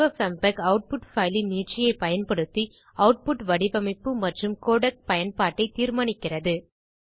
FFmpeg output file இன் நீட்சியைப் பயன்படுத்தி ஆட்புட் வடிவமைப்பு மற்றும் கோடெக் பயன்பாட்டைத் தீர்மானிக்கிறது